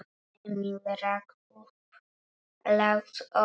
Emil rak upp lágt óp.